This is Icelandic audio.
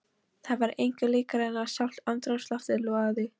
Það var engu líkara en að sjálft andrúmsloftið logaði.